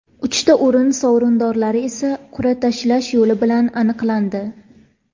Uchta o‘rin sovrindorlari esa qur’a tashlash yo‘li bilan aniqlandi.